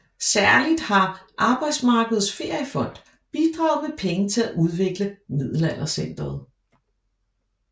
Særligt har Arbejdsmarkedets Feriefond bidraget med penge til at udvikle Middelaldercentret